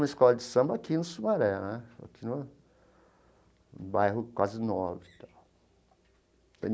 Uma escola de samba aqui no Sumaré né, aqui no bairro quase nobre e tal.